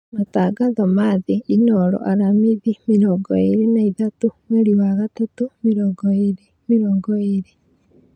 Matangatho ma thĩ Inooro Aramithi mĩrongo ĩĩrĩ na ĩtatũ mweri wa gatatũ mĩrongo ĩĩrĩ mĩrongo ĩĩrĩ